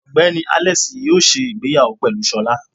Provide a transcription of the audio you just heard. Ogbeni Alex yóò se ìgbéyàwó pelú sọla